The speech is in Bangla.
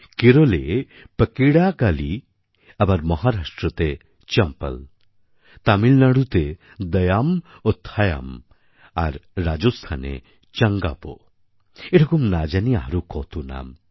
কেরলে পাকিড়াকালী আবার মহারাষ্ট্রতে চম্পল তামিলনাড়ুতে দায়াম ও থায়াম আর রাজস্থানে চঙ্গাপো এরকম না জানি আরও কত নাম